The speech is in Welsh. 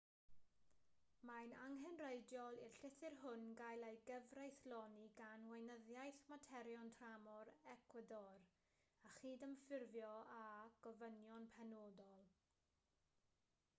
mae'n angenrheidiol i'r llythyr hwn gael ei gyfreithloni gan weinyddiaeth materion tramor ecwador a chydymffurfio â gofynion penodol